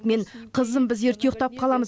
мен қызым біз ерте ұйықтап қаламыз